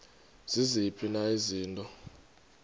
ziziphi na izinto